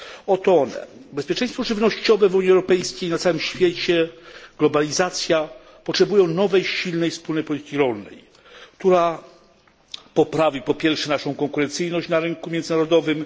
Oto one bezpieczeństwo żywnościowe w Unii Europejskiej i na całym świecie, globalizacja potrzebują nowej, silnej wspólnej polityki rolnej, która, po pierwsze, poprawi naszą konkurencyjność na rynku międzynarodowym